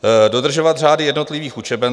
"Dodržovat řády jednotlivých učeben."